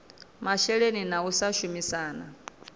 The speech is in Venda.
masheleni na u sa shumisana